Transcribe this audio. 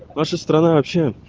наша страна вообще